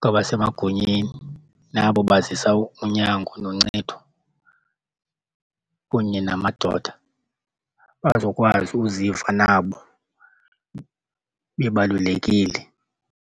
kwabasemagunyeni nabo bazisa unyango noncedo kunye namadoda bazokwazi uziva nabo bebalulekile.